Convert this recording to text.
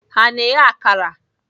Ha na-eghe akara?